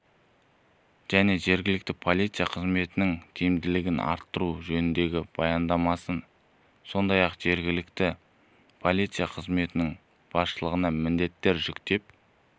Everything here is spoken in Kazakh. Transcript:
және жергілікті полиция қызметінің тиімділігін арттыру жөніндегі баяндамасы сондай-ақ жергілікті полиция қызметінің басшылығына міндеттер жүктеп